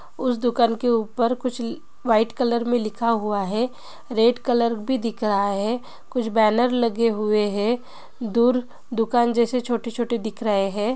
उस दुकान के ऊपर कुछ व्हाइट कलर मे लिखा हुवा है| रेड कलर भी दिख रहा है कुछ बैनर लगे हुवे है दूर दुकान जैसे छोटे छोटे दिख रहे है।